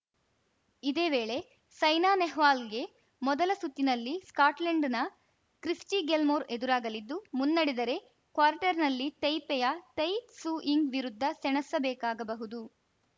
ಇದೇ ವೇಳೆ ಸೈನಾ ನೆಹ್ವಾಲ್‌ಗೆ ಮೊದಲ ಸುತ್ತಿನಲ್ಲಿ ಸ್ಕಾಟ್ಲೆಂಡ್‌ನ ಕ್ರಿಸ್ಟಿಗಿಲ್ಮೊರ್‌ ಎದುರಾಗಲಿದ್ದು ಮುನ್ನಡೆದರೆ ಕ್ವಾರ್ಟರ್‌ನಲ್ಲಿ ತೈಪೆಯ ತೈ ತ್ಸು ಯಿಂಗ್‌ ವಿರುದ್ಧ ಸೆಣಸಬೇಕಾಗಬಹುದು